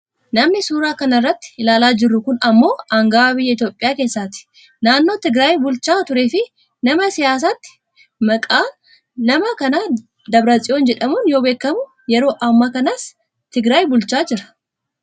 Namni suuraa kana irratti ilaalaa jirru kun ammoo anga'aa biyya Itoopiyaa keessatti, naannoo tigiraayi bulchaa tureefi nama siyaasaati. Maqaan nama kana Dabratsiyon jedhamuun yoo beekkamu , yeroo amma kanaas tigiraayi bulchaa jira.